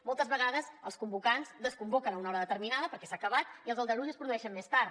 moltes vegades els convocants desconvoquen a una hora determinada perquè s’ha acabat i els aldarulls es produeixen més tard